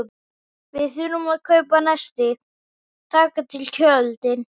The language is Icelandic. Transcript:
Við þurfum að kaupa nesti og taka til tjöldin og.